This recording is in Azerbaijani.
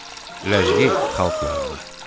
Ləzgi xalq nağılı.